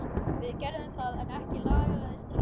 Við gerðum það en ekki lagaðist drykkjan.